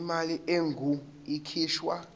imali engur ikhishwa